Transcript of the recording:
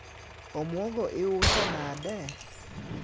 omuogo iuso nade?